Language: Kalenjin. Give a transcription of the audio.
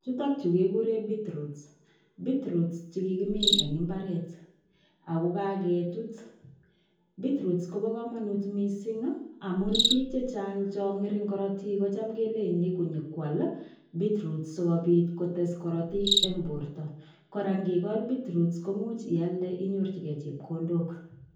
Chutok chu kiguren beet roots che kigimin en mbaret ago kagetut. Beet roots kob komonut mising amun biik chechang chon ngering korotik kotam kelenchin koam beet roots sigobit kotes korotik en borto. Kora ngikol beet root koimuch ialde inyorjige chepkondok.